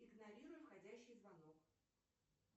игнорируй входящий звонок